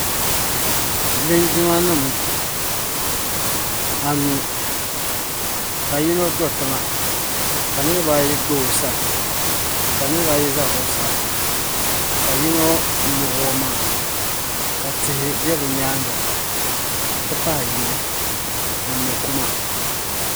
linjimanima anu ka yino do tiŋa ka niriba ayi gba o sani ka niriba ayi za zuɣusaa ka yino muɣi o maŋa ka tihi be bɛ nyaaga nti pahi yili ni mɔ' kuma.